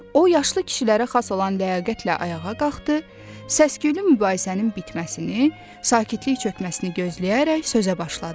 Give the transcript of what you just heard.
O, yaşlı kişilərə xas olan ləyaqətlə ayağa qalxdı, səs-küylü mübahisənin bitməsini, sakitlik çökməsini gözləyərək sözə başladı.